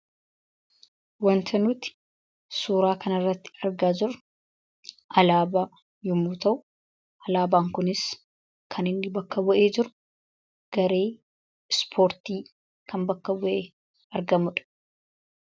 Wanti nuti suura kan irratti argaa jirru, Alaabaa yommuu ta'u, alaabaan kunis kan inni bakka bu'ee jiru garee ispoortii kan bakka bu'ee argamuudha.